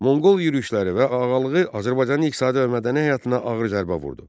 Monqol yürüşləri və ağalığı Azərbaycanın iqtisadi və mədəni həyatına ağır zərbə vurdu.